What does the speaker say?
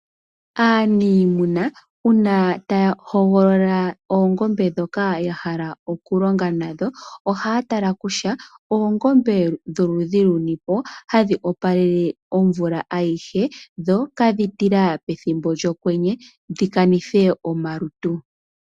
Aaniimuna uuna taya hogolola oongombe ndhoka ya hala okulonga nadho ohaya tala kutya oongombe dholudhi luni po hadhi opalele omvula ayihe dho ihadhi tila pethimbo lyokwenye dhi kanithe omalutu.